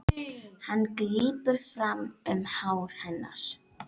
Hann grípur aftur um hár hennar.